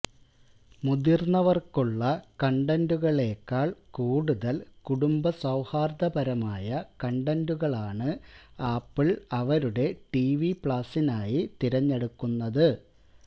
മുതിർന്നവർക്കുള്ള കണ്ടന്റുകളെക്കാൾ കൂടുതൽ കുടുംബ സൌഹാർദ്ദപരമായ കണ്ടന്റുകളാണ് ആപ്പിൾ അവരുടെ ടിവി പ്ലാസിനായി തിരഞ്ഞെടുക്കുന്നത്